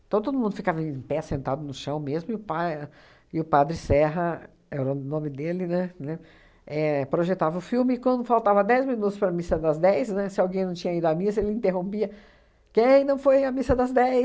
Então, todo mundo ficava em pé, sentado no chão mesmo, e o pa e o padre Serra, era o nome dele, né, né, éh projetava o filme, e quando faltava dez minutos para a missa das dez, né, se alguém não tinha ido à missa, ele interrompia, quem não foi à missa das